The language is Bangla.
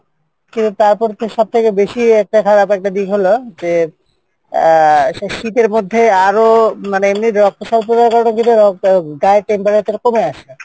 কিন্তু তারপর তো সবথেকে বেশি একটা খারাপ একটা দিক হলো যে, আহ আচ্ছা শীতের মধ্যে আরও মানে এমনি রক্তসল্পতার কারনে গায়ের temperature কমে আসে,